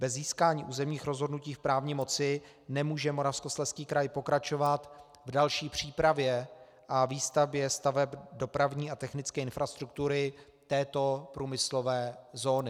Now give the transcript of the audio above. Bez získání územních rozhodnutí v právní moci nemůže Moravskoslezský kraj pokračovat v další přípravě a výstavbě staveb dopravní a technické infrastruktury této průmyslové zóny.